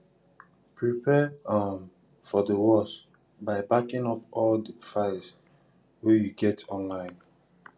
prepare um for di worse by backing up all di files wey you get online